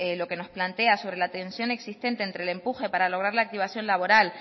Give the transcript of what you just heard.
lo que nos plantea sobre la tensión existente entre el empuje para lograr la activación laboral